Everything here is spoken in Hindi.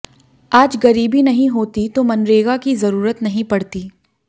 आज गरीबी नहीं होती तो मनरेगा की जरूरत नहीं पड़ती